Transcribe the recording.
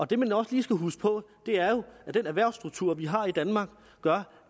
det man også lige skal huske på er at den erhvervsstruktur vi har i danmark gør